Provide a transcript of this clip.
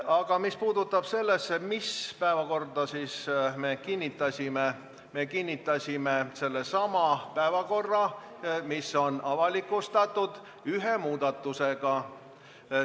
Aga mis puudutab seda, millise päevakorra me kinnitasime – me kinnitasime sellesama päevakorra, mis on avalikustatud, koos ühe muudatusega.